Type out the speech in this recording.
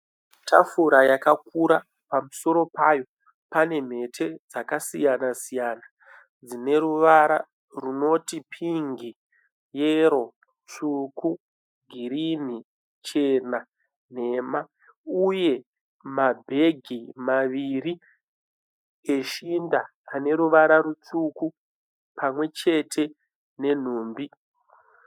Tafura yakakura pamusoro payo pane mhete dzakasiyana siyana. Dzine ruvara runoti pingi, yero, tsvuku, girinhi, chena, nhema uye mabhegi maviri eshinda ane ruvara rutsvuku pamwe chete nenhumbi.